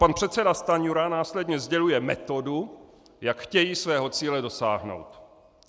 Pan předseda Stanjura následně sděluje metodu, jak chtějí svého cíle dosáhnout.